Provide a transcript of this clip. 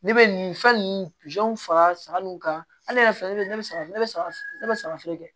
Ne bɛ nin fɛn ninnu fara saga nunu kan ale yɛrɛ filɛ ne bɛ ne saga ne be saga ne be saga feere kɛ